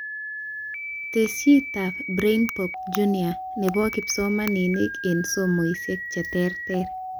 Tesisyitab BrainPop Jr nebo kipsomanink eng somoishek cheterter